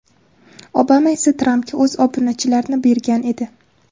Obama esa Trampga o‘z obunachilarini bergan edi.